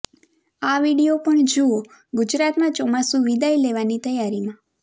આ વીડિયો પણ જુઓઃ ગુજરાતમાં ચોમાસું વિદાય લેવાની તૈયારીમાં